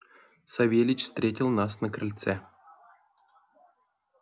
савельич встретил нас на крыльце